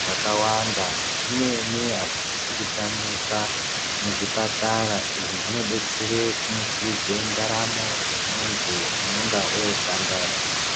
zvakawanda. Zvimweni hazvisisi kutamika muzvipatara. Izvi zvinodetsere kumutsa ndaramo yemunhu unenga wotandadza.